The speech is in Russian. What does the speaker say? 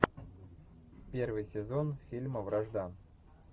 первый сезон фильма вражда